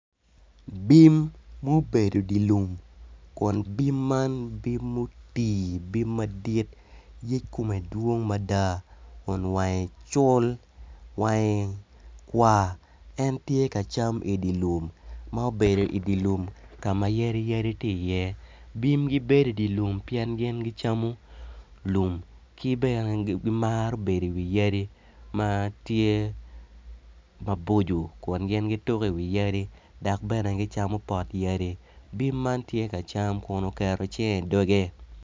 Bim mubedo idi lim Kun bim man bim mutii bim madit yec kome dwong mada kun wange col wange kwar en tye ka cam idi lum ma obedo ma obedo idi lum ka ma yadi yadi tye iye bim gibedo idi lum pien gin gicamo lum ki bene gimaro bedo iwi yadi ma tye maboco Kun gin gituko iwi yadi dok bene gicamo pot yadi bim man tye ka cam kun oketo cinge idoge